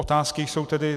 Otázky jsou tedy: